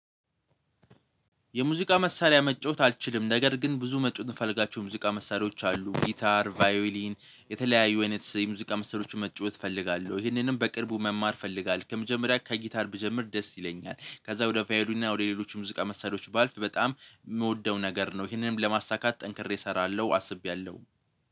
የሙዚቃ መሳሪያ መጫወት አልችልም። ነገር ግን ብዙ መጫወት የምፈልጋቸው ሙዚቃ መሳሪያዎች አሉ ጊታር ቫዮሊን የተለያዩ አይነት የሙዚቃ መሳሪያዎች መጫወት እፈልጋለሁ። ይህንንም በቅርቡ መማር እፈልጋለሁ ከመጀመሪያ ከጊታር ብጀምር ደስ ይለኛል። ከዛ ወደ ቫዮሊንና ወደ ሌሎች ሙዚቃ መሳሪያዎች ባልፍ በጣም የምወደው ነገር ነው። ይሄንንም ለማሳካት ጠንክሬ እሰራለሁ አስቤያለሁ